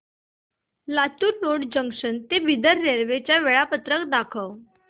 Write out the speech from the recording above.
Latur road junction ते Bidar railway च्या वेळा दाखव